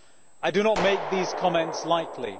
I do not make these comments lightly.